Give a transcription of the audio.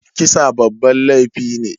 Kisa babban laifi ne.